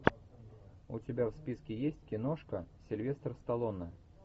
у тебя в списке есть киношка сильвестр сталлоне